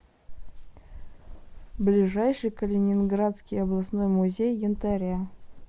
ближайший калининградский областной музей янтаря